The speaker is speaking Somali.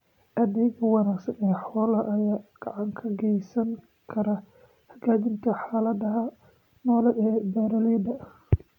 Adeegga wanaagsan ee xoolaha ayaa gacan ka geysan kara hagaajinta xaaladda nololeed ee beeralayda.